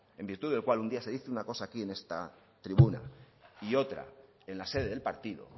en virtud del cual un día se dice una cosa aquí en esta tribuna y otra en la sede del partido